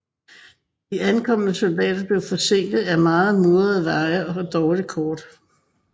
De ankommende soldater blev forsinket af meget mudrede veje og dårlige kort